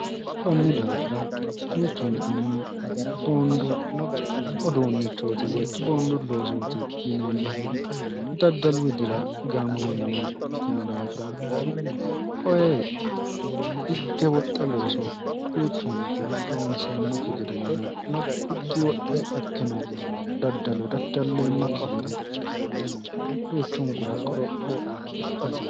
konni daafira duuchunkunni boondu oduunnichooti woy boondu loosooti yineemmohu daddalu widira gaamamannowa ikkino daafira koye higge woxxe looso duuchunku loonseemmokki gedenna higgi woxxe ikkino daddalo daddalleemmokki gede duuchunkura qorophoo ikkahsi